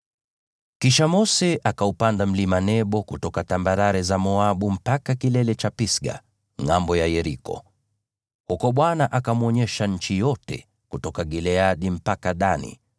Kisha Mose akaupanda mlima Nebo kutoka tambarare za Moabu mpaka kilele cha Pisga, ngʼambo ya Yeriko. Huko Bwana akamwonyesha nchi yote: kutoka Gileadi mpaka Dani,